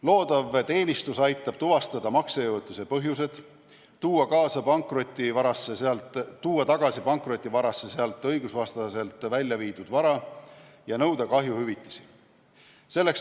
Loodav teenistus aitab tuvastada maksejõuetuse põhjused, tuua pankrotivarasse tagasi sealt õigusvastaselt välja viidud vara ja nõuda kahjuhüvitisi.